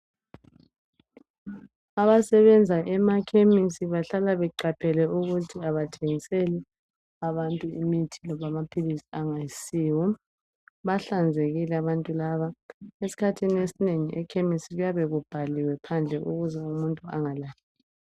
Abasebenza emaKhemisi bahlala beqaphele ukuthi abathengiseli abantu imithi loba amaphilisi angayisiwo bahlanzekile abantu laba esikhathini esinengi eKemisi kuyabe kubhaliwe phandle ukuze umuntu engalahleki.